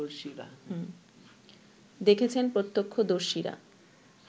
দেখেছেন প্রত্যক্ষদর্শীরা